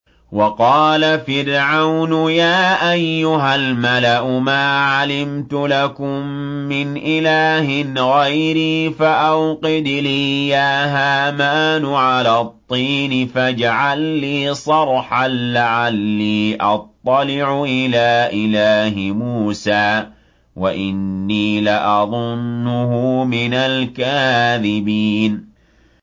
وَقَالَ فِرْعَوْنُ يَا أَيُّهَا الْمَلَأُ مَا عَلِمْتُ لَكُم مِّنْ إِلَٰهٍ غَيْرِي فَأَوْقِدْ لِي يَا هَامَانُ عَلَى الطِّينِ فَاجْعَل لِّي صَرْحًا لَّعَلِّي أَطَّلِعُ إِلَىٰ إِلَٰهِ مُوسَىٰ وَإِنِّي لَأَظُنُّهُ مِنَ الْكَاذِبِينَ